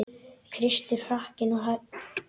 Kristur hrakinn og hæddur.